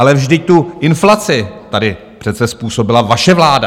Ale vždyť tu inflaci tady přece způsobila vaše vláda!